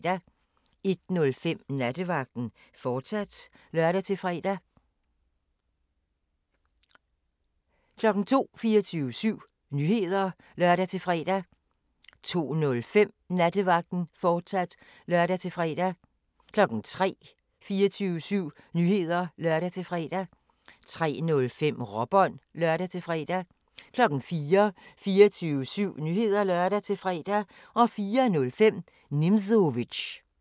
01:05: Nattevagten, fortsat (lør-fre) 02:00: 24syv Nyheder (lør-fre) 02:05: Nattevagten, fortsat (lør-fre) 03:00: 24syv Nyheder (lør-fre) 03:05: Råbånd (lør-fre) 04:00: 24syv Nyheder (lør-fre) 04:05: Nimzowitsch